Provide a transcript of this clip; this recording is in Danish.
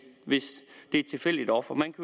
det er et tilfældigt offer man